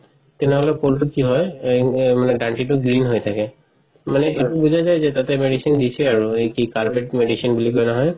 তেনেহলে কলটো কি হয় মানে দান্তিটো green হয় থাকে মানে এইটো বুজাইছে তাতে medicine দিছে আৰু এই কি কাৰপেট medicine বুলি কই নহয়